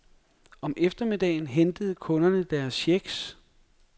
Om eftermiddagen hentede kunderne deres checks.